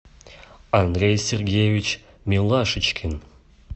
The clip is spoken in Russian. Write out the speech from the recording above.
андрей сергеевич милашечкин